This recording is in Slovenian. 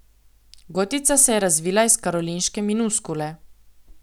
Gotica se je razvila iz karolinške minuskule.